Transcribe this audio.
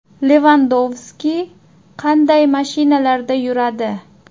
Levandovski qanday mashinalarda yuradi?